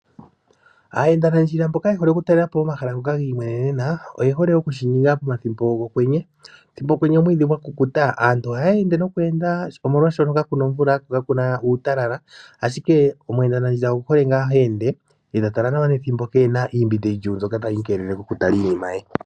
Aayendanandjila mboka ye hole oku talelapo omahala ngoka gi i mwemenena oyehole okushininga pethimbo lyokwenye. Pokwenye omwiidhi gwa kukuta aantu o haya ende oshoka kakuna omvula ko kakuna uutalala, ashike omweendanandjila owuhole ngaa ho ende ta tala nawa ,kapena shoka tashi imbi oku tala nawa.